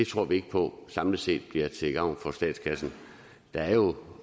tror vi ikke på samlet set bliver til gavn for statskassen der er jo